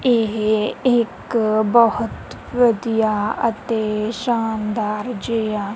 ਇਹ ਇੱਕ ਬਹੁਤ ਵਧੀਆ ਅਤੇ ਸ਼ਾਨਦਾਰ ਜਿਆ।